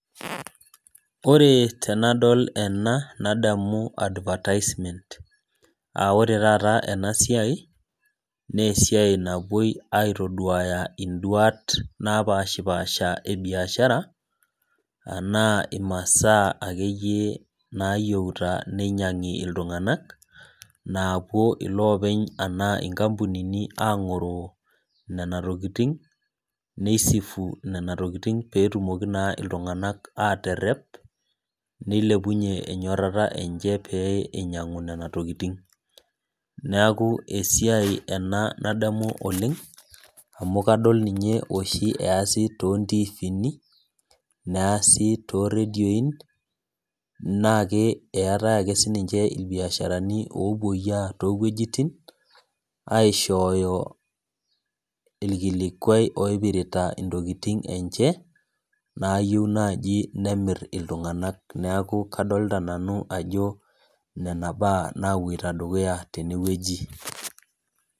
Ore tenadol ena, nadamu advertisement. Ah ore taata enasiai, nesiai napuoi aitoduaya iduat napashipasha ebiashara, anaa imasaa akeyie nayieuta ninyang'i iltung'anak, naapuo ilopeny anaa inkampunini ang'oroo nena tokiting, ni sifu nena tokiting petumoki naa iltung'anak aterrep, nilepunye enyorrata enche pee inyang'u nena tokiting. Neeku esiai ena nadamu oleng, amu kadol ninye oshi eesi tontiifini, neesi toredion, naake eetae ake sininche irbiasharani opoyia towuejiting, aishooyo irkilikwai oipirita intokiting enche, nayieu nai nemir iltung'anak. Neeku kadolta ajo nena baa napoita dukuya tenewueji.